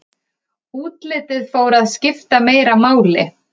útlitið fór að skipta meira máli